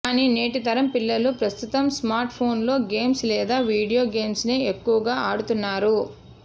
కానీ నేటి తరం పిల్లలు ప్రస్తుతం స్మార్ట్ ఫోన్లలో గేమ్స్ లేదా వీడియో గేమ్స్ నే ఎక్కువగా ఆడుతున్నారు